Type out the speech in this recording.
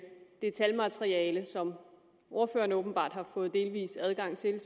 det talmateriale som ordføreren åbenbart har fået delvis adgang til